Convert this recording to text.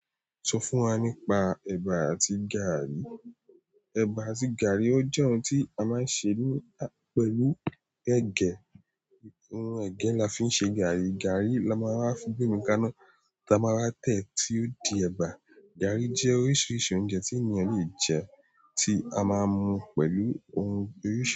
Sọ fún wa nípa ẹbà àti gààrí. Ẹbà àti gààrí ọ jẹ ohun ti a máa ń se pẹ̀lú ẹgẹ. Hmm ẹgẹ la fi ń ṣe gààrí, gààrí la máa wa gbe ka iná la maa wa tẹ́ tí o di ẹ̀bà. Gààrí jẹ́ oríṣiríṣi oúnjẹ tí ènìyàn le jẹ, tí a máa ń mu pẹ̀lú ohun oríṣiri.